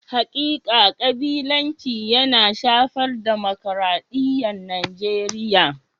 Hakika kabilanci yana shafar dimokradiyyar Najeriya.